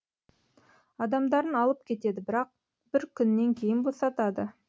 адамдарын алып кетеді бірақ бір күннен кейін босатады